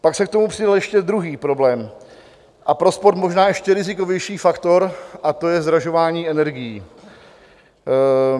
Pak se k tomu přidal ještě druhý problém a pro sport možná ještě rizikovější faktor a to je zdražování energií.